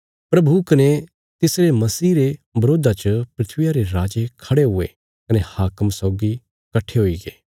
प्रभु कने तिसरे मसीह रे बरोधा च धरतिया रे राजे खड़े हुये कने हाकम सौगी कट्ठे हुईगे